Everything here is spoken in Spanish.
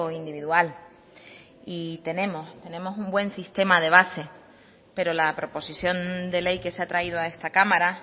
individual y tenemos tenemos un buen sistema de base pero la proposición de ley que se ha traído a esta cámara